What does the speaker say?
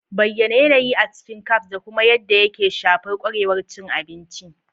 Bayyana yanayi a cikin cafes da kuma yadda yake shafar kwarewar cin abinci.